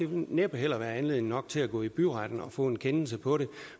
ville næppe heller være anledning nok til at gå i byretten og få en kendelse på det